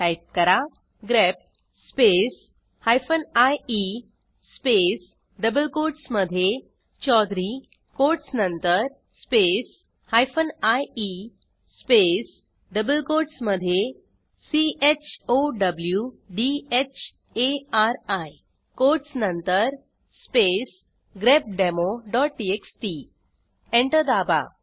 type करा grep space hyphen I E space double कोटसमधे चौधुर्य कोटस नंतर space hyphen I E space double कोटसमधे चौधरी कोटस नंतर स्पेस grepdemoटीएक्सटी एंटर दाबा